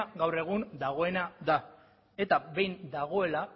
gaur egun dagoena da eta behin dagoela